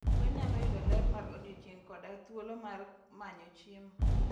Gwen nyalo yudo ler mar odiechieng' koda thuolo mar manyo chiemo.